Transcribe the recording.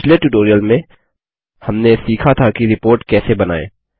पिछले ट्यूटोरियल में हमने सीखा था कि रिपोर्ट कैसे बनाएँ